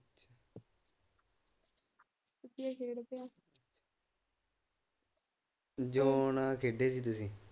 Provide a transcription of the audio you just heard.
Zone ਖੇਡੇ ਸੀ ਤੁਸੀ?